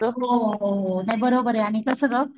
हो हो हो नाही बरोबर आणि कस ग,